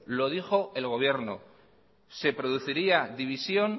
lo dijo el gobierno se produciría división